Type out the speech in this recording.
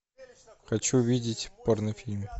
хочу видеть порнофильм